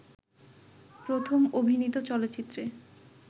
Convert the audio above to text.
প্রথম অভিনীত চলচ্চিত্রে